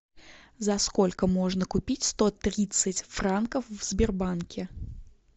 за сколько можно купить сто тридцать франков в сбербанке